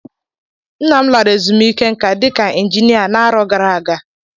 Nna m lara ezumiike nka dika Injinia n'arọ gara aga